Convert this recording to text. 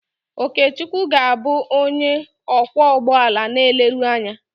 Okechukwu ga-abụ onye ọkwọ ụgbọala na eleru anya.